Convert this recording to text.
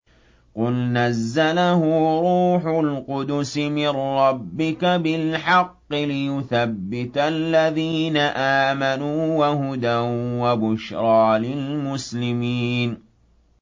قُلْ نَزَّلَهُ رُوحُ الْقُدُسِ مِن رَّبِّكَ بِالْحَقِّ لِيُثَبِّتَ الَّذِينَ آمَنُوا وَهُدًى وَبُشْرَىٰ لِلْمُسْلِمِينَ